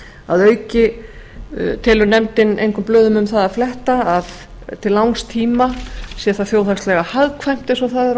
að auki telur nefndin engum blöðum um það að fletta að til langs tíma sé það þjóðhagslega hagkvæmt eins og það er